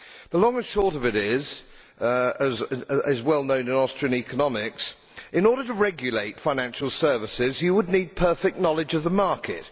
The long and short of it is as well known in Austrian economics that, in order to regulate financial services, you would need perfect knowledge of the market.